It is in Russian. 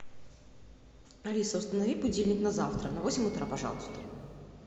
алиса установи будильник на завтра на восемь утра пожалуйста